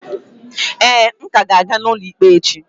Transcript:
Ee, m ka ga-aga n'ụlọ ikpe echi.